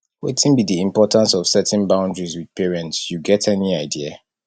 wetin be di importance of setting boundaries with parents you get any idea